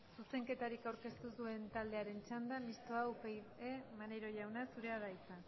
zuzenketarik aurkeztu duen taldearen txanda mistoa upyd maneiro jauna zurea da hitza